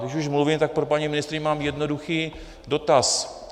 Když už mluvím, tak pro paní ministryni mám jednoduchý dotaz.